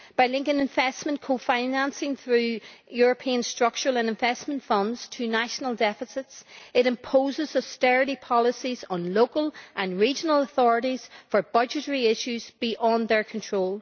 By linking investment co financing through European structural and investment funds to national deficits, it imposes austerity policies on local and regional authorities for budgetary issues beyond their control.